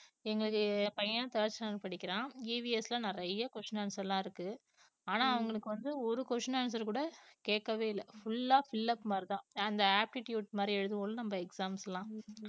எங்களுக்கு பையன் third standard படிக்கிறான் EVS ல நிறைய questions answers எல்லாம் இருக்கு ஆனா அவங்களுக்கு வந்து ஒரு question answer கூட கேட்கவே இல்லை full ஆ fill up மாதிரிதான் அந்த apptitude மாதிரி எழுதுவோம்ல நம்ம exams எல்லாம்